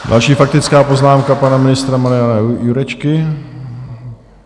Další faktická poznámka - pana ministra Mariana Jurečky.